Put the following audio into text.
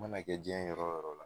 Mana kɛ jiɲɛ yɔrɔ o yɔrɔ la